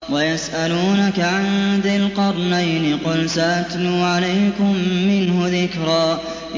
وَيَسْأَلُونَكَ عَن ذِي الْقَرْنَيْنِ ۖ قُلْ سَأَتْلُو عَلَيْكُم مِّنْهُ ذِكْرًا